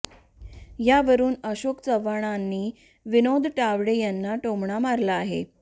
यावरुन अशोक चव्हाणांनी विनोद तावडे यांना टोमणा मारला आहे